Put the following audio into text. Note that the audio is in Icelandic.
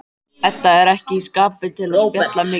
Edda er ekki í skapi til að spjalla mikið.